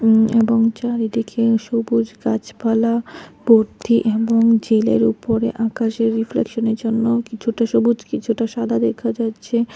উম এবং চারিদিকে সবুজ গাছপালা ভর্তি এবং জেলের উপরে আকাশের রিফ্লেকশনের জন্য কিছুটা সবুজ কিছুটা সাদা দেখা যাচ্ছে।